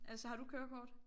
Altså har du kørekort?